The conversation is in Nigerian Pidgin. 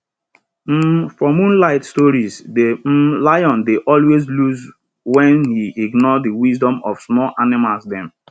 um for moonlight stories de um lion dey always lose wen he ignore de wisdom of small animals dem